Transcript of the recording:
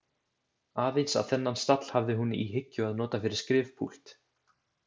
Aðeins að þennan stall hafði hún í hyggju að nota fyrir skrifpúlt.